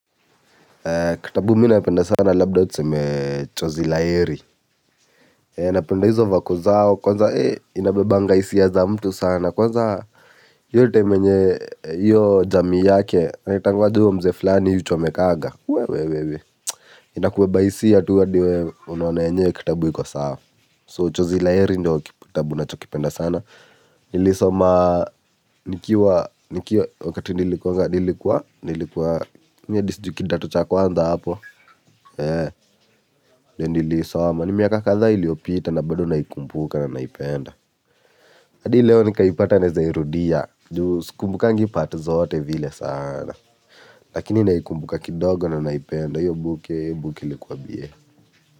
Kitabu mi napenda sana labda tuseme chozi laeri. Napenda hizo vako zao kwanza inabebanga hisia za mtu sana kwanza iyo time yenye jamii yake anaitwanga aje huyu mzee fulani huchomekaga. Inakubeba hisia tu adi wewe unaona yenyewe hii kitabu iko sawa. So chozi la heri ndo kitabu nachokipenda sana. Nilisoma nikiwa wakati nilikuwa nilikuwa nilikuwa mimi adi sijui kidato cha kwanza hapo. Eee. Ndo niliisoma ni miaka kadhaa iliopita na bado naikumbuka na naipenda. Adi leo nikaipata neza irudia. Juu sikumbukangi part zote vile sana. Lakini naikumbuka kidogo na naipenda. Iyo book iyo book ilikuwa ba.